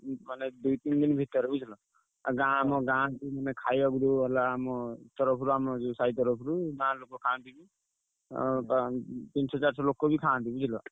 ଉଁ ମାନେ ଦୁଇ ତିନି ଭିତରେ ବୁଝିଲ। ଆଉ ଗାଁ ଆମ ଗାଁ ଆମେ ଖାଇଆକୁ ଦଉ ହେଲା ଆମ ଉତ୍ତରପୁର ଯୋଉ ଆମ ସାହି ତରଫରୁ ଗାଁ ଲୋକ ଖାଆନ୍ତି। ଆଉ ତା ତିନିସ ଚାରିଶ ଲୋକବି ଖାଆନ୍ତି ବୁଝିଲ।